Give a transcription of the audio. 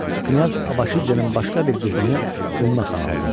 Knyaz Abaşidzenin başqa bir qızını Ümmə xan aldı.